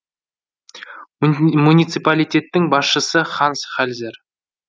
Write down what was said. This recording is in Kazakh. муниципалитеттің басшысы ханс хальзер